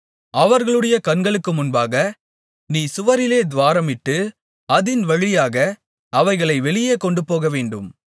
அவர்களுடைய கண்களுக்கு முன்பாக நீ சுவரிலே துவாரமிட்டு அதின் வழியாக அவைகளை வெளியே கொண்டுபோகவேண்டும்